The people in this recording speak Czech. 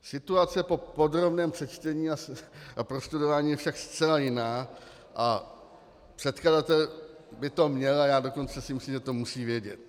Situace po podrobném přečtení a prostudování je však zcela jiná a předkladatel by to měl, a já dokonce si myslím, že to musí vědět.